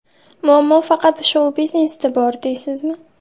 Muammo faqat shou-biznesda bor, deysizmi?